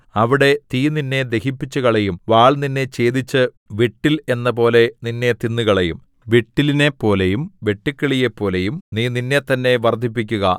അവിടെ തീ നിന്നെ ദഹിപ്പിച്ചുകളയും വാൾ നിന്നെ ഛേദിച്ച് വിട്ടിൽ എന്നപോലെ നിന്നെ തിന്നുകളയും വിട്ടിലിനെപ്പോലെയും വെട്ടുക്കിളിയെപ്പോലെയും നീ നിന്നെത്തന്നെ വർദ്ധിപ്പിക്കുക